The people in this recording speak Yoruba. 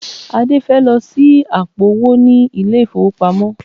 Adé fẹ́ lọ ṣí àpò-owó ní ilé-ìfowópamọ́